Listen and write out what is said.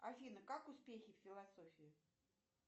афина как успехи в философии